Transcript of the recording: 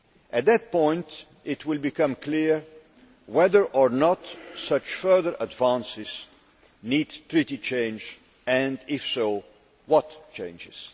At that point it will become clear whether or not such further advances need Treaty change and, if so, what changes.